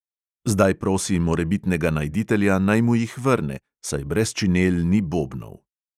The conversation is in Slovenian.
Zdaj prosi morebitnega najditelja, naj mu jih vrne, saj brez činel ni bobnov.